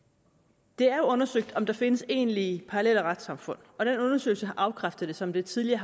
det er undersøgt om der findes egentlige parallelle retssamfund og den undersøgelse har afkræftet som det tidligere